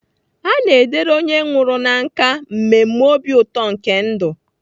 A na-edere onye nwụrụ na nkà mmemme obi ụtọ nke ndụ.